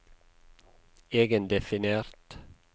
egendefinert